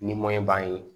Ni b'an ye